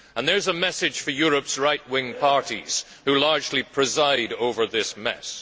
And there is a message for Europe's right wing parties who largely preside over this mess.